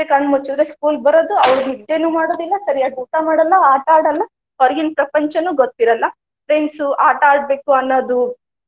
ಕಣ್ಣ ಮುಚ್ಚುದ್ರಾಗ school ಬರೋದು ಅವ್ರ ನಿದ್ದೇನು ಮಾಡುದಿಲ್ಲಾ, ಸರಿಯಾಗಿ ಊಟಾ ಮಾಡಲ್ಲಾ, ಆಟಾ ಆಡಲ್ಲಾ, ಹೊರಗಿನ ಪ್ರಪಂಚನು ಗೊತ್ತ ಇರಲ್ಲಾ friends ಆಟಾ ಆಡ್ಬೇಕು ಅನ್ನೋದು.